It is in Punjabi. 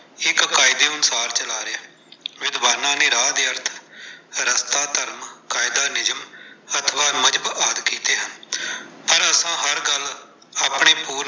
ਇਕ ਕਾਇਦੇ ਅਨੁਸਾਰ ਚਲਾ ਰਹੈ। ਵਿਦਵਾਨਾਂ ਨੇ ਰਾਹ ਦੇ ਅਰਥ ਰਸਤਾ, ਧਰਮ, ਕਾਇਦਾ, ਨਿਯਮ ਅਥਵਾ ਮਜਹਬ ਆਦਿ ਕੀਤੇ ਹਨ। ਪਰ ਆਪਾਂ ਹਰ ਗੱਲ ਆਪਣੇ .